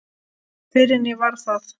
Fyrr en ég varð það.